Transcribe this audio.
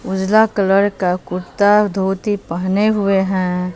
उजला कलर का कुर्ता धोती पहने हुए हैं।